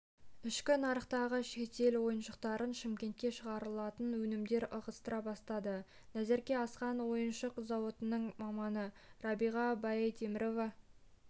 ішкі нарықтағы шетел ойыншықтарын шымкентте шығарылатын өнімдер ығыстыра бастады назерке асхан ойыншық зауытының маманы рабиға байтемірова